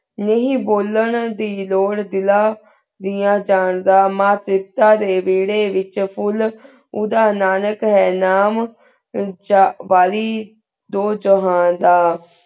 ਨਹੀ ਬੁਲਾਏਂ ਦੀ ਲੁਰ ਬਿਨਾ ਦਲਾਂ ਡੇਯ ਜਾਂਦਾ ਮਾਨ ਸੀਸਤਾਨ ਦੇਯਨ ਵੇਰੀ ਵੇਚ ਫੁਲ ਉਦੇਹਨਾ ਨਾਕਿਕ ਹੈਂ ਨਾਮ ਛੇਰ ਵਾਲੇਹੀ ਦੁਹ ਜਹਾਂ ਦਾ